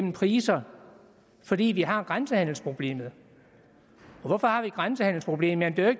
af priser fordi vi har grænsehandelsproblemet og hvorfor har vi det grænsehandelsproblem ja der er